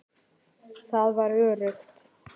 Það var öruggt.